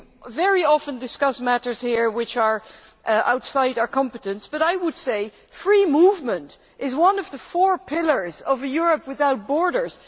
We very often discuss matters here which are outside our competence but I would say that free movement is one of the four pillars of a Europe without borders.